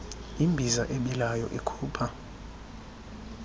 imbiza ebilayo ikhupha